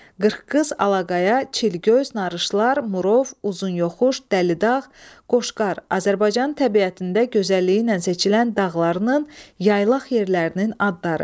Qırxqız, Alaqaya, Çilqöz, Narışlar, Murov, Uzunyoxuş, Dəlidağ, Qoşqar, Azərbaycan təbiətində gözəlliyi ilə seçilən dağlarının, yaylaq yerlərinin adları.